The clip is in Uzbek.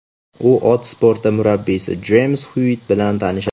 U ot sporti murabbiysi Jeyms Xyuitt bilan tanishadi.